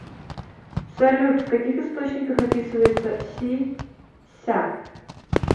салют в каких источниках описывается си ся